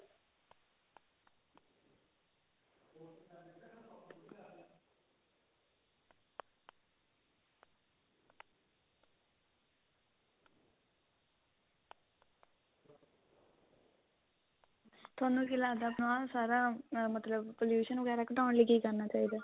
ਥੋਨੂੰ ਕੀ ਲੱਗਦਾ ਆਪਣਾ ਸਾਰਾ ਮਤਲਬ pollution ਵਗੈਰਾ ਘਟਾਉਣ ਲਈ ਕੀ ਕਰਨਾ ਚਾਹੀਦਾ